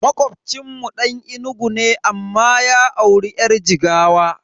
Makocinmu Dan Enugu ne amma ya auri yar Jigawa.